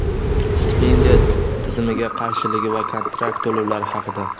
stipendiya tizimiga qarshiligi va kontrakt to‘lovlari haqida.